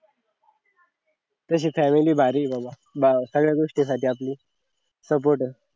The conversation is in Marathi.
तशी family भारी आहे बाबा सगळ्या गोष्टी साठी आपली support आहे